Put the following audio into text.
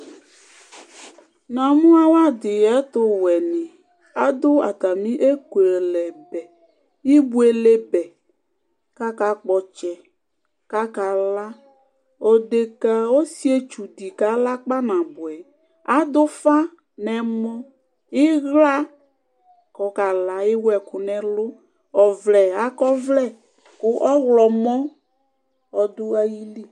Namu awadí ɛtuwɛni aɖu atamie ekualɛ nɛ ibuele bɛkaka kpɔ ɔtsɛkaka la odeka osietsu kala kpanabuɛ aɖu ufa nu ɛmɔ iɣla kɔ kala ewu ɛku nu ɛlu óvlɛ akɔ ɔvlɛ ɔɣomɔ du ayili